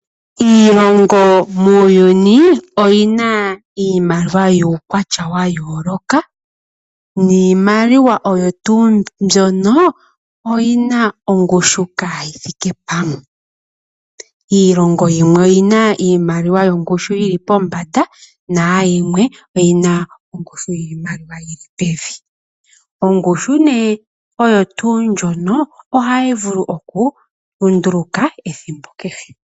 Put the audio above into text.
Iilongo muuyuni oyina iimaliwa yuukwatya wa yooloka niimaliwa oyo tuu mbyono oyina ongushu kayi thike pamwe. Iilongo yimwe oyina iimaliwa yongushu yili pombanda nayimwe oyina ongushu yiimaliwa yili pevi. Ongushu oyo tuu ndjono ohayi vulu oku lunduluka ethimbo kehe.